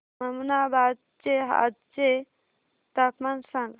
ममनाबाद चे आजचे तापमान सांग